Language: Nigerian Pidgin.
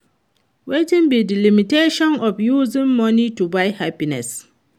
Wetin be di limitations of using money to buy happiness?